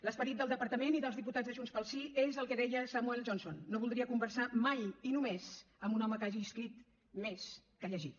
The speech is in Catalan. l’esperit del departament i dels diputats de junts pel sí és el que deia samuel johnson no voldria conversar mai i només amb un home que hagi escrit més que llegit